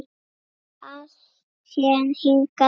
Alltént hingað til.